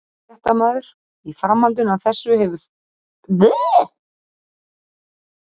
Fréttamaður: Í framhaldinu af þessu hefur frekari sameining banka verið rædd?